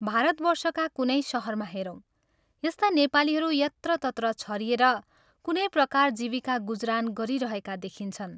भारतवर्षका कुनै शहरमा हेरौं, यस्ता नेपालीहरू यत्रतत्र छरिएर कुनै प्रकार जीविका गुजरान गरिरहेका देखिन्छन्।